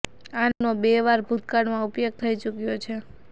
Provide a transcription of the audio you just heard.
આ નામનો બે વાર ભૂતકાળમાં ઉપયોગ થઇ ચુકયો છે